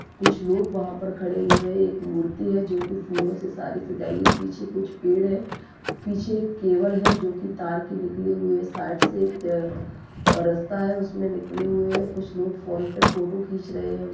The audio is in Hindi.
कुछ लोग वहाँ पर खड़े हुए हैं एक मूर्ती हैं जो की फूलो से सारी सजाई गई है पीछे कुछ पेड़ है पीछे एक केबल है जो की तार की निकली हुई है साइड से एक रास्ता है उसमे निकले हुए है कुछ लोग फ़ोन पे फोटो खींच रहे है।